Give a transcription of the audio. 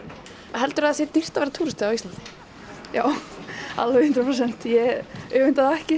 heldurðu að það sé dýrt að vera túristi á Íslandi já alveg hundrað prósent ég öfunda þá ekki